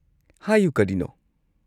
ꯍꯥꯏꯌꯨ, ꯀꯔꯤꯅꯣ?